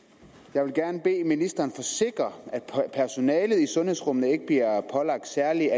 jeg vil gerne bede ministeren forsikre at personalet i sundhedsrummene ikke bliver pålagt særlige